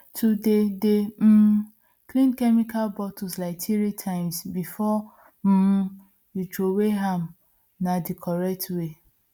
to dey dey um clean chemical bottle like three times before um you throway am na the correct way